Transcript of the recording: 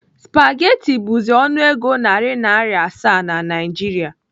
Spageti bụzi ọnụego nari Naira asaa na Naịjiria.